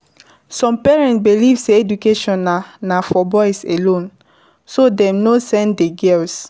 Some parents believe sey education na na for boys alone, so dem no send di girls